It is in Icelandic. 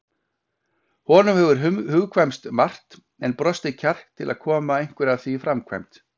Honum hefur hugkvæmst margt en brostið kjark til að koma einhverju af því í framkvæmd.